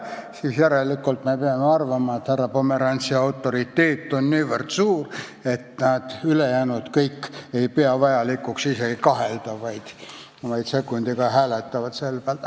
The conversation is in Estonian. Sel juhul peame arvama, et härra Pomerantsi autoriteet on nii suur, et keegi ei pea vajalikuks isegi kahelda, vaid kõik kohe hääletavad poolt.